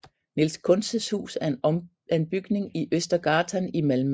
Niels Kuntzes hus er en bygning i Östergatan i Malmø